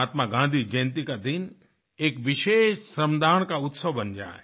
महात्मा गाँधी जयंती का दिन एक विशेष श्रमदान का उत्सव बन जाए